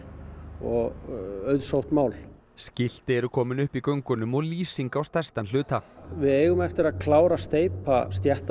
og auðsótt mál skilti eru komin upp í göngunum og lýsing á stærstan hluta við eigum eftir að klára að steypa